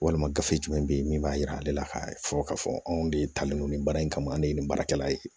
Walima gafe jumɛn bɛ ye min b'a jira ale la k'a fɔ k'a fɔ anw de taalen don nin baara in kama an ye nin baarakɛla ye